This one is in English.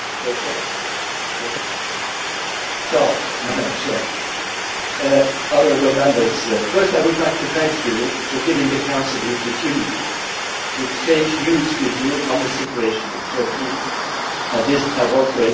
Madam President, honourable Members, firstly I would like to thank you for giving the Council the opportunity to exchange views with you on the situation in Turkey at this pivotal moment for the country and for the whole region.